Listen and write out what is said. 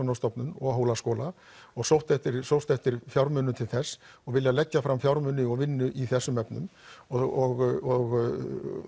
Hafrannsóknarstofnun og Hólaskóla og sóst eftir sóst eftir fjármunum til þess og viljað leggja fram fjármuni og vinnu í þessum efnum og